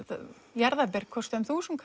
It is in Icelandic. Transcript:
jarðaber kosta um þúsund